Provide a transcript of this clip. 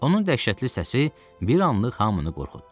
Onun dəhşətli səsi bir anlıq hamını qorxutdu.